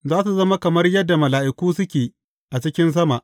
Za su zama kamar yadda mala’iku suke a cikin sama.